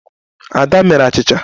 Ada mere achịcha.